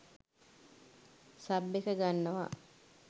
Sub එක ගන්නවා.